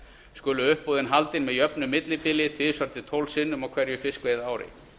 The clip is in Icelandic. skulu uppboð haldin með jöfnu millibili tvisvar til tólf sinnum á hverju fiskveiðiári